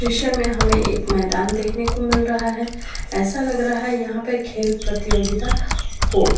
दृश्य में हमें एक मैदान देखने को मिल रहा है। ऐसा लग रहा है यहाँ पे खेल प्रतियोगिता होगा।